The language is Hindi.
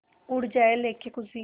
उड़ जाएं लेके ख़ुशी